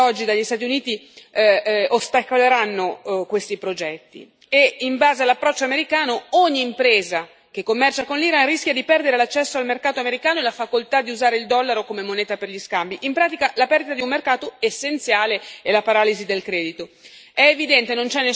È chiaro che le sanzioni decise oggi dagli Stati Uniti ostacoleranno questi progetti e, in base all'approccio americano, ogni impresa che commercia con l'Iran rischia di perdere l'accesso al mercato americano e la facoltà di usare il dollaro come moneta per gli scambi, in pratica la perdita di un mercato essenziale e la paralisi del credito.